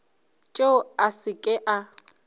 tšeo a se ke a